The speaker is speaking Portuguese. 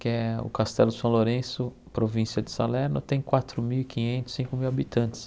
que é o Castelo São Lourenço, província de Salerno, tem quatro mil e quinhentos, cinco mil habitantes.